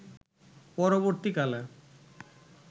পরবর্তীকালে